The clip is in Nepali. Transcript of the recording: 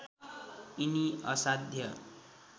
यिनी असाध्य